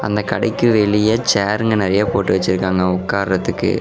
அந்த கடைக்கு வெளிய சாற்ங்க நெறய போட்டு வெச்சிருக்காங்க ஒக்காறதுக்கு.